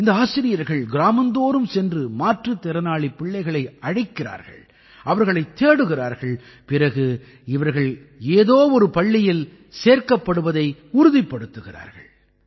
இந்த ஆசிரியர்கள் கிராமந்தோறும் சென்று மாற்றுத் திறனாளிப் பிள்ளைகளை அழைக்கிறார்கள் அவர்களைத் தேடுகிறார்கள் பிறகு இவர்கள் ஏதோ ஒரு பள்ளியில் சேர்க்கப்படுவதை உறுதிப்படுத்துகிறார்கள்